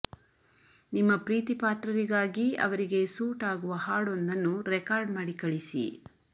ನಿಮ್ಮ ಪ್ರೀತಿಪಾತ್ರರಿಗಾಗಿ ಅವರಿಗೆ ಸೂಟ್ ಆಗುವ ಹಾಡೊಂದನ್ನು ರೆಕಾರ್ಡ್ ಮಾಡಿ ಕಳಿಸಿ